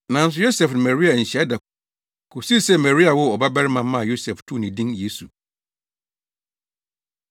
Nanso Yosef ne Maria anhyia da kosii sɛ Maria woo ɔbabarima maa Yosef too ne din “Yesu.”